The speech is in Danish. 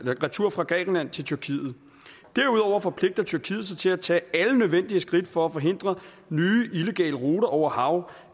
retur fra grækenland til tyrkiet derudover forpligter tyrkiet sig til at tage alle nødvendige skridt for at forhindre nye illegale ruter over hav